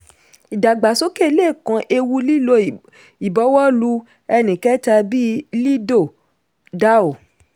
ìdàgbàsókè le kan ewu lílo ìbọwọ́lù ẹnìkẹta bí lido dao.